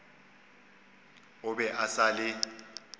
o be a sa le